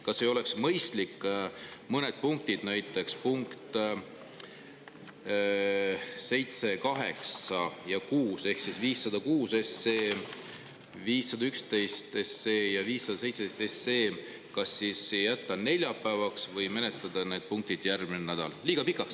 Kas ei oleks mõistlik mõned punktid, näiteks punktid 6, 7 ja 8 ehk 506 SE, 511 SE ja 517 SE, jätta kas neljapäevaks või menetleda need järgmine nädal?